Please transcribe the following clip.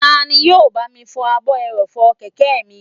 Tani yóò bá mi fọ ààbò ẹrọ̀fọ̀ kẹ̀kẹ́ mi?